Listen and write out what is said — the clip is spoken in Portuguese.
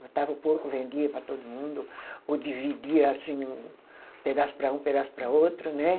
Matava o porco, vendia para todo mundo, ou dividia assim, o pedaço para um, pedaço para outro, né?